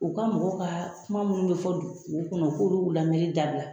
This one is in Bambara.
U ka mɔgɔw ka kuma minnu bɛ fɔ dugu kɔnɔ, u ka olu lamɛni dabila.